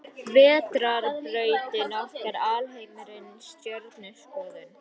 Vetrarbrautin okkar Alheimurinn Stjörnuskoðun.